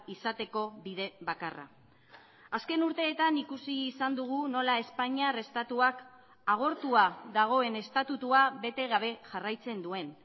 izateko bide bakarra azken urteetan ikusi izan dugu nola espainiar estatuak agortua dagoen estatutua bete gabe jarraitzen duen